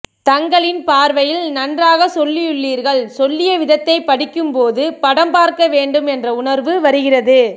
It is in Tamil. தங்களின் பார்வையில் நன்றாக சொல்லியுள்ளீர்கள் சொல்லிய விதத்தை படிக்கும் போது படம் பார்க்க வேண்டும் என்ற உணர்வு வருகிறது